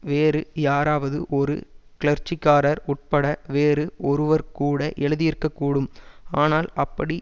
வேறு யாராவது ஒரு கிளர்ச்சிக்காரர் உட்பட வேறு ஒருவர் கூட எழுதியிருக்கக்கூடும் ஆனால் அப்படி